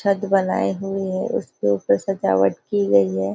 छत बनाई हुई है उसके ऊपर सजावट की गयी है।